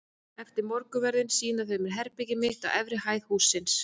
Eftir morgunverðinn sýna þau mér herbergið mitt á efri hæð hússins.